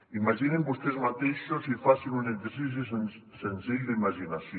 imaginin vostès mateixos i facin un exercici senzill d’imaginació